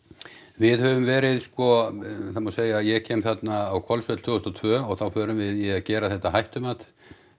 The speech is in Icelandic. við höfum verið sko það má segja ég kem þarna á Hvolsvöll tvö þúsund og tvö og þá förum við í að gera þetta hættumat